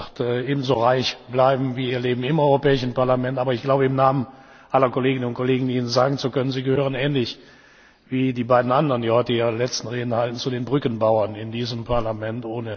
Ich glaube, das wird ebenso reich bleiben wie Ihr Leben im Europäischen Parlament. Aber im Namen aller Kolleginnen und Kollegen glaube ich, sagen zu können Sie gehören ähnlich wie die beiden anderen, die heute ihre letzten Reden halten, zu den Brückenbauern in diesem Parlament.